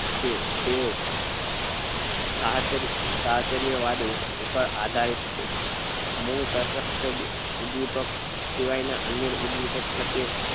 કે જે સાહચર્ય સાહચર્ય વાદ ઉપર પર આધારિત છે મૂળ તત્વ તત્ષ્ટ ઉદ્વેપ્ક સિવાય ના ઉદ્વેપ્ક પ્રત્યે